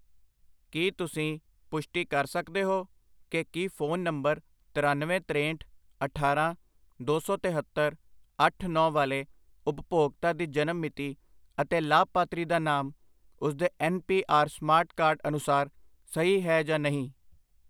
ਕੀ ਤੁਸੀਂ ਪੁਸ਼ਟੀ ਕਰ ਸਕਦੇ ਹੋ ਕਿ ਕੀ ਫੋਨ ਨੰਬਰ ਤਰੱਨਵੇਂ, ਤਰੇਂਹਟ, ਅਠਾਰਾਂ, ਦੋ ਸੌ ਤਹੇਤਰ, ਅੱਠ, ਨੌਂ ਵਾਲੇ ਉਪਭੋਗਤਾ ਦੀ ਜਨਮ ਮਿਤੀ ਅਤੇ ਲਾਭਪਾਤਰੀ ਦਾ ਨਾਮ ਉਸਦੇ N P R smart card ਅਨੁਸਾਰ ਸਹੀ ਹੈ ਜਾਂ ਨਹੀਂ